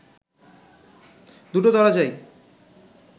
দুটো দরজাই